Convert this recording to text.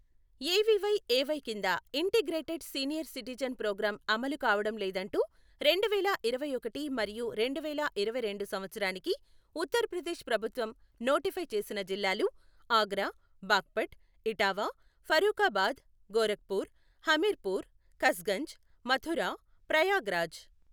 AVYAY కింద integrated senior citizen programme అమలు కావడం లేదంటూ రెండువేల ఇరవై ఒకటి మరియు రెండువేల ఇరవైరెండు సంవత్సరానికి ఉత్తరప్రదేశ్ ప్రభుత్వం నోటిఫై చేసిన జిల్లాలు ఆగ్రా, బాగ్పట్, ఇటావా, ఫరూఖాబాద్, గోరఖ్పూర్, హమీర్పూర్, కస్గంజ్, మథుర, ప్రయాగ్రాజ్.